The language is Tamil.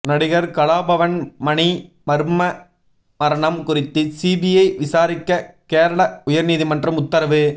நடிகர் கலாபவன் மணி மர்ம மரணம் குறித்து சிபிஐ விசாரிக்க கேரள உயர் நீதிமன்றம் உத்தரவு